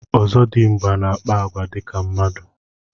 Ọzọdimgba na akpa agwa ka mmadụ.